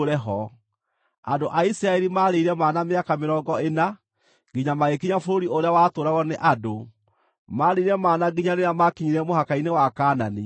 Andũ a Isiraeli maarĩire mana mĩaka mĩrongo ĩna nginya magĩkinya bũrũri ũrĩa watũũragwo nĩ andũ; maarĩire mana nginya rĩrĩa maakinyire mũhaka-inĩ wa Kaanani.